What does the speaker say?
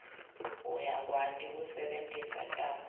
uyakwati kusebentisa takhi